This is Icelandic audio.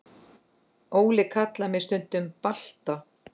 Óli kallar mig stundum Balta